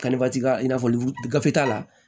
i n'a fɔ vide t'a la